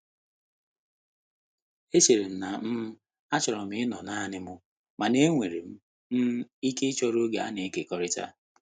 Echerem na'm um achọrọ m ịnọ naanị m, mana enwere m um ike ịchọrọ oge a na-ekekọrịta.